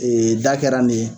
Ee da kɛra nin ye.